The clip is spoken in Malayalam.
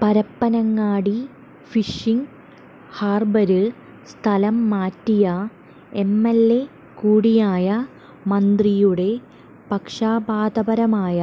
പരപ്പനങ്ങാടി ഫിഷിംഗ് ഹാര്ബര് സ്ഥലം മാറ്റിയ എംഎല്എ കൂടിയായ മന്ത്രിയുടെ പക്ഷാപാതപരമായ